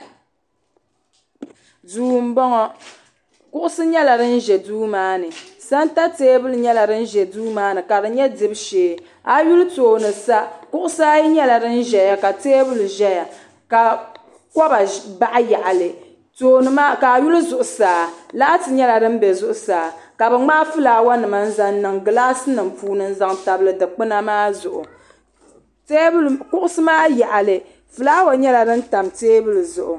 duu n bɔŋɔ kuɣusi nyɛla din ʒɛ duu maa ni sɛnta teebuli nyɛla din ʒɛ duu maa ni ka di nyɛ dibu shee a yi lihi tooni sa kuɣusi ayi nyɛla din ʒɛya ka teebuli ʒɛya ka kɔba baɣa yaɣali ka a lihi zuɣusaa laati nyɛla din bɛ zuɣusaa ka bi ŋmaai fulaawa nima n zaŋ niŋ gilaas nim puuni n zaŋ tabili dikpuna maa zuɣu kuɣusi maa yaɣali fulaawa nyɛla din tam teebuli zuɣu